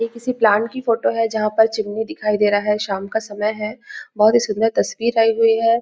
ये किसी प्लांट की फोटो है जहाँ पर चिमनी दिखाई दे रहा है शाम का समय है बहुत ही सुन्दर तस्वीर आई हुई हैं।